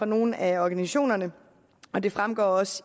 nogle af organisationerne det fremgår også